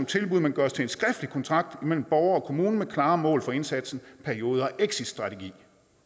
tilbud men gøres til en skriftlig kontrakt mellem borger og kommune med klare mål for indsatsen perioden og en exitstrategi